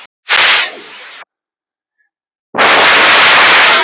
Góða ferð, mamma mín.